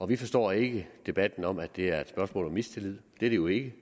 vi forstår ikke debatten om at det er et spørgsmål om mistillid det er det jo ikke